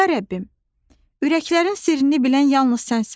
"Ya Rəbbim, ürəklərin sirrini bilən yalnız sənsən.